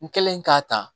N kɛlen k'a ta